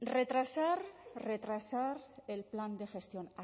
retrasar el plan de gestión